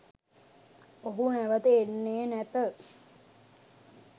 ඔහු නැවත එන්නේ නැත